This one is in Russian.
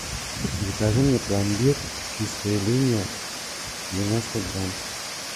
закажи мне пломбир чистая линия девяносто грамм